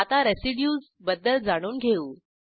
आता रेसिड्यूज बद्दल जाणून घेऊ